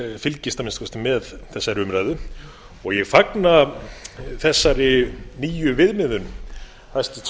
að minnsta kosti með þessari umræðu ég fagna þessari nýju viðmiðun hæstvirtur